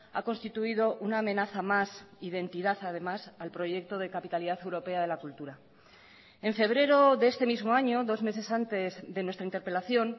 ha constituido una amenaza más identidad además al proyecto de capitalidad europea de la cultura en febrero de este mismo año dos meses antes de nuestra interpelación